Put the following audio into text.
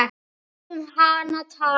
Látum hana tala.